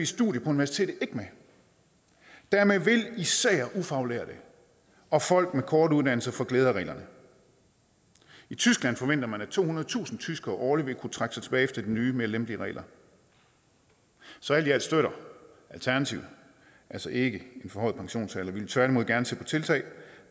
studier på universitetet ikke med dermed vil især ufaglærte og folk med korte uddannelser få glæde af reglerne i tyskland forventer man at tohundredetusind tyskere årligt vil kunne trække sig tilbage efter de nye og mere lempelige regler så alt i alt støtter alternativet altså ikke en forhøjet pensionsalder vi vil tværtimod gerne se på tiltag